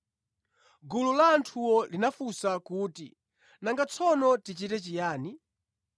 Gulu la anthuwo linafunsa kuti, “Nanga tsono tichite chiyani?”